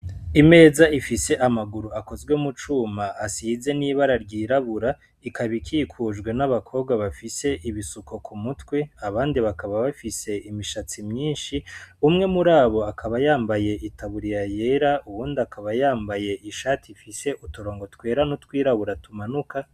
Imeza ifise amaguru akozwe mu cuma asize n' ibara ryirabura ikaba ikikujwe n' abakobwa bafise ibisuko ku mutwe abandi bakaba bafise imishatsi myinshi umwe muri abo akaba yambaye itaburiya yera uwundi akaba yambaye ishati ifise uturongo twera n' utwirabura tumanuka.